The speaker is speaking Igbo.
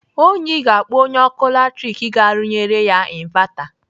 Onyi ga-akpọ onye ọkụ latrik ka rụnyere ya invata.